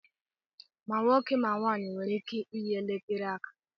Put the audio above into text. Ma nwoke ma nwanyị nwere ike iyi elekere aka